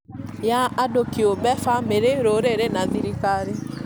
ya andũ kĩũmbe, bamĩrĩ, rũrĩrĩ na thirikari